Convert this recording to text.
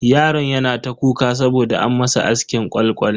Yaron yana ta kuka saboda an masa askin kwal kwal.